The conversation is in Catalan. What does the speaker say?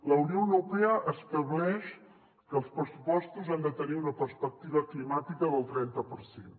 la unió europea estableix que els pressupostos han de tenir una perspectiva climàtica del trenta per cent